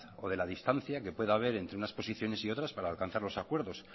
de la distancia que pueda haber entre unas posiciones y otras para alcanzar los acuerdos